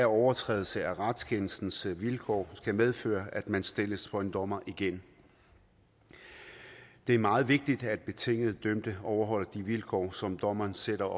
overtrædelse af retskendelsens vilkår skal medføre at man stilles for en dommer igen det er meget vigtigt at betinget dømte overholder de vilkår som dommeren sætter